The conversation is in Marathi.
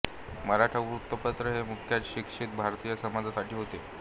मराठा वृत्तपत्र हे मुख्यत शिक्षित भारतीय समाजासाठी होते